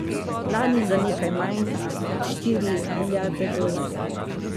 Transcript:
Lani za nekaj manj, kot štiri milijarde dolarjev.